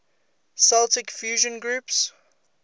celtic fusion groups